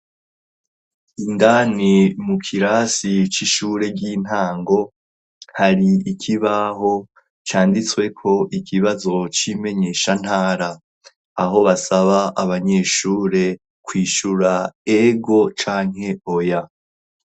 Indani mu kirasi c'ishure ry'intango, hari ikibaho canditsweko ikibazo c'imenyeshantara; aho basaba abanyeshure, kwishura ego canke oya.